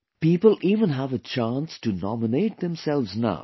People even have a chance to nominate themselves now